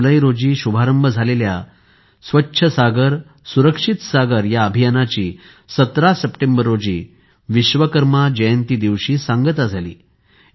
५ जुलै रोजी शुभारंभ झालेल्या या अभियानाची १७ सप्टेंबर विश्वकर्मा जयंती दिवशी सांगता झाली